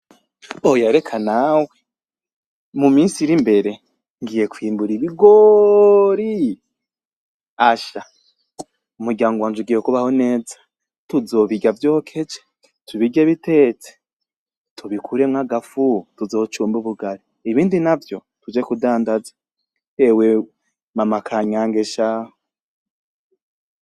Oya rekanawe mu minsi iri mbere ngiye kwimbura ibigori asha umuryango wanje ugiye kubaho neza , tuzobirya vyokeje, tubirye bitetse, tubikuremwo agafu tuzocumbe ubugali, ibindi navyo tuje kudandaza ewe mama kanyange shahu.